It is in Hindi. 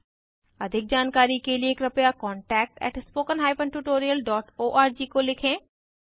अधिक जानकारी के लिए कृपया contactspoken tutorialorg को लिखें